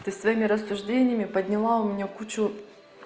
ты своими рассуждениями подняла у меня кучу